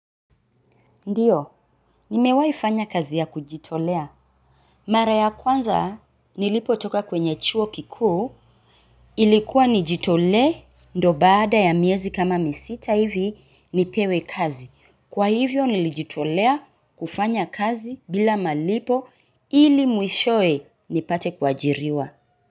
Ndiyo, nimewahifanya kazi ya kujitolea. Mara ya kwanza, nilipotoka kwenye chuo kikuu, ilikuwa nijitolee, ndo baada ya miezi kama misita hivi, nipewe kazi. Kwa hivyo nilijitolea kufanya kazi bila malipo, ili mwishowe nipate kuajiriwa.